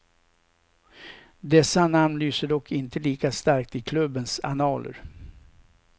Dessa namn lyser dock inte lika starkt i klubbens annaler.